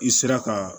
I sera ka